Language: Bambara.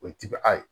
O ye tibi a ye